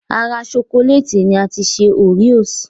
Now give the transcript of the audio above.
Ara ṣokolẹ́ẹ̀tì ni a ti ṣe oreos